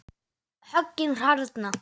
Höggin harðna.